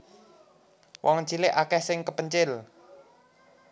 Wong cilik akeh sing kepencil